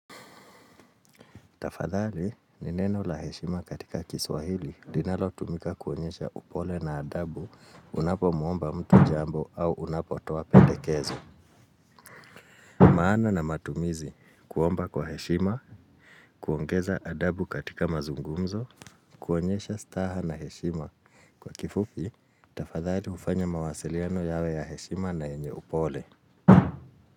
Tafadhali ni neno la heshima katika kiswahili linalo tumika kuonyesha upole na adabu unapomwomba mtu jambo au unapotoa pendekezo. Maana na matumizi kuomba kwa heshima, kuongeza adabu katika mazungumzo, kuonyesha staha na heshima. Kwa kifupi, tafadhali ufanya mawasiliano yawe ya heshima na yenye upole.